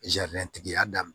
tigi y'a daminɛ